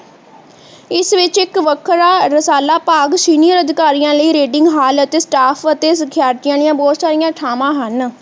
ਇਸ ਵਿਚ ਇੱਕ ਵੱਖਰਾ ਰਸਾਲਾ ਭਾਗ ਸੀਨੀਅਰ ਅਧਿਕਾਰੀਆਂ ਲਈ reading ਹਾਲ ਅਤੇ staff ਅਤੇ ਸਿਖਿਆਰਥੀਆਂ ਲਈ ਬਹੁਤ ਸਾਰੀਆਂ ਥਾਵਾਂ ਹਨ